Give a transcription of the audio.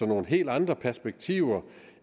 nogle helt andre perspektiver